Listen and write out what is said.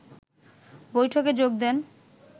বৈঠকে যোগ দেন